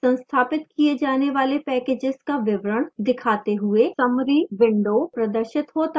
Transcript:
संस्थापित किए जाने वाले packages का विवरण दिखाते हुए summary window प्रदर्शित होता है